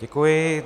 Děkuji.